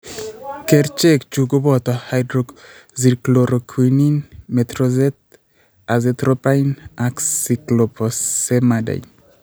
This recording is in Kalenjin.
Kerchek chu ko bota: hydroxychloroquine , methotrexate, azathioprine ak cyclophosphamide .